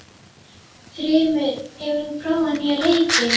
Þrymur, hefur þú prófað nýja leikinn?